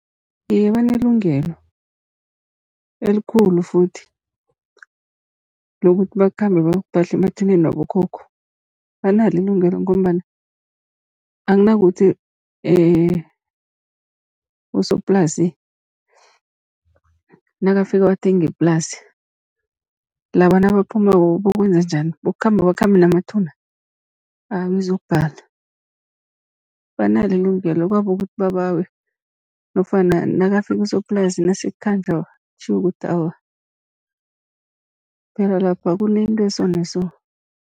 Iye, banelungelo elikhulu futhi lokuthi bakhambe bayokuphahla emathuneni wabokhokho. Banalo ilungelo ngombana, akunakuthi usoplasi nakafika wathenga iplasi laba nabaphumako bayokwenza njani, bayokukhamba bakhambe namathuna. Awa izokubhala, banalo ilungelo kwabo kukuthi babawe nofana nakafika usoplasi, nasekukhanjwa kutjhiwo ukuthi awa phela lapha kunento e-so na-so.